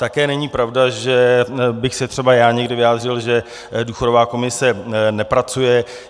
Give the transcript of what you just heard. Také není pravda, že bych se třeba já někdy vyjádřil, že důchodová komise nepracuje.